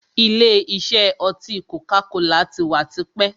Ìlé isẹ́ oti koka-kola tí wá tipẹ́.